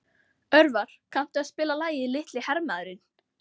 Örvar, kanntu að spila lagið „Litli hermaðurinn“?